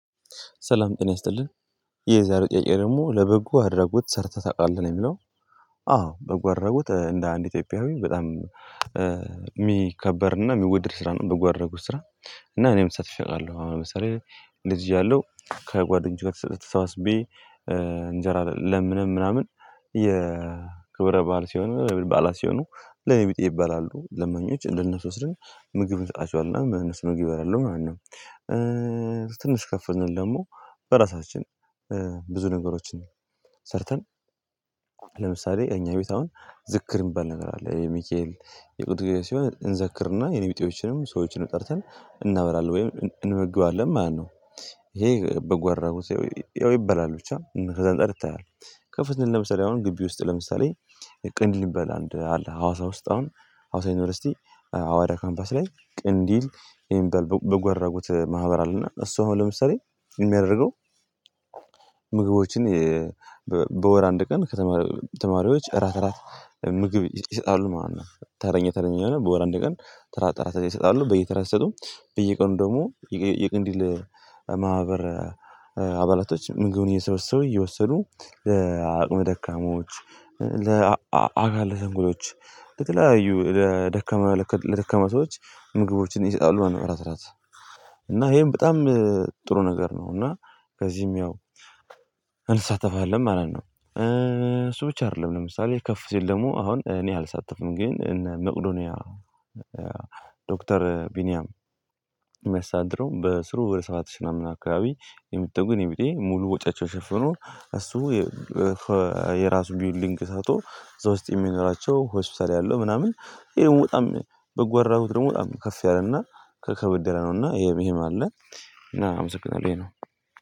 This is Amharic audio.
ሰላም ጤና ይስጥልን ይህ የዛሬው ጥያቄ ደግሞ ለበጎ አድራጎት ሰርተህ ታውቃለህ ነው የሚለው? አዎ በጎ አድራጎት እንደ አንድ ኢትዮጵያዊ በጣም የሚከበርና የሚወድድ ስራ ነው በጎ አድራጎት ስራ እና እኔም ተሳትፌ አውቃለው አለው አሁን ለምሳሌ ልጅ ያለው ከጓደኞቼ ጋር ተሰባስቤ እንጀራ ለምነን ምናምን የክብረ በዓል ሲሆን ለኔ በዓላት ሲሆኑ ለኔ የኔብጤ ይባላሉ ለማኞች ለነሱ ወስደን ምግብ እንሰጣቸዋልና እናም እነሱ ምግብ ይበላሉ ማለት ነው። ትንሽ ከፍ ስንል ደግሞ በራሳችን ብዙ ነገሮችን ሰርተን ለምሳሌ እኛ ቤት አሁን ዝክር የሚባል ነገር አለ የሚካኤል የቅዱስ ገብርኤል ሲሆን እንዘክርና የኔ ቢጤዎችንም ሰዎችንም ጠርተን እናበላለን ወይም እንመግባለን። ማነው ይሄ በጎ አድራጉት ያው ይበላል ብቻ ከዛ እንፃር ይታያል። ከፍ ስንል ለምሳሌ አሁን ግቢ ውስጥ ለምሳሌ ቅንልብ ሚባል አለ ሀዋሳ ውስጥ አሁን ሀዋሳ ዩኒቨርሲቲ አዋዳ ካምፓስ ላይ ቅንዲል የሚባል በጎ አድራጉት ማህበር አለና እሱ አሁን ለምሳሌ የሚያደርገው ምግቦችን በወር አንድ ቀን ከተማሪዎች እራት እራት ምግብ ይሰጣሉ ማለት ነው። ተረኛ ተረኛ የሆነ በወር አንድ ቀን ተራ ተራ ይሰጣሉ በየተራ ሲሰጡም በየቀኑ ደግሞ የቀንዲል ማህበር አባላቶች ምግቡን እየሰበሰቡ እየወሰዱ ለአቅመ ደካሞች ለአካል ስንኩሎች ለተለያዩ ለደካመ ለተከመ ሰዎች ምግቦችን ይሰጣሉ ነበር። አስራ እና ይሄን በጣም ጥሩ ነገር ነው። እና ከዚህም ያው እንሳተፋለን ማለት ነው። እሱ ብቻ አይደለም ለምሳሌ ከፍ ሲል ደግሞ አሁን እኔ አልሳተፍም ግን እነ መቁዶኒያ ዶክተር ቢኒያም የሚያስተዳድረው በስሩ ወደ ሰባት ሺ ምናምን አካባቢ የሚጠጉ የኔ ቢጤ ሙሉ ወጫቸውን ሽፍኖ እሱ የራሱ ቢውልዲንግ ሰርቶ እዛ ውስጥ የሚያኖራቸው ሆስፒታል ያለው ምናምን ይሄ በጣም በጎ አድራጎት ደግሞ በጣም ከፍ ያለ እና ከበድ ያለ ነው። እና ይሄም ይሄም አለ እና አመሰግናለሁ ይሄ ነው